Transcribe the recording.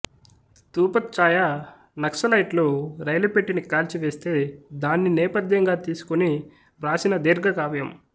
ధూపఛ్చాయ నక్సలైట్లు రైలుపెట్టిని కాల్చివేస్తే దాన్ని నేపథ్యంగా తీసుకొని వ్రాసిన దీర్ఘకావ్యం